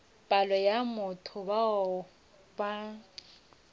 palo ya batho bao ba